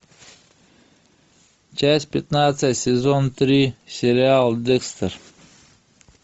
часть пятнадцать сезон три сериал декстер